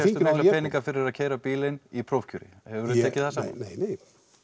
peninga fyrir að keyra bílinn í prófkjöri hefurðu tekið það saman nei nei